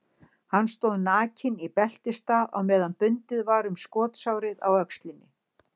Hann stóð nakinn í beltisstað á meðan bundið var um skotsárið á öxlinni.